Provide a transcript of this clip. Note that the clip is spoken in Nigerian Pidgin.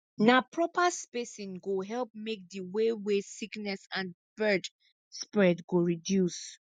na proper spacing go help make di way wey sickness and bird spread go reduce